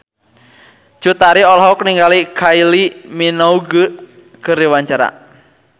Cut Tari olohok ningali Kylie Minogue keur diwawancara